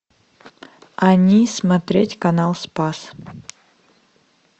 они смотреть канал спас